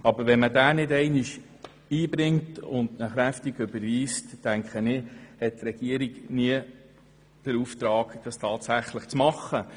Aber wenn man diesen Vorstoss nicht einmal einbringt und deutlich überweist, hat die Regierung nie den Auftrag, diese Sache tatsächlich anzupacken.